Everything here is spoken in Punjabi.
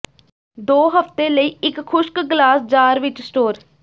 ਦੋ ਹਫਤੇ ਲਈ ਇੱਕ ਖੁਸ਼ਕ ਗਲਾਸ ਜਾਰ ਵਿੱਚ ਸਟੋਰ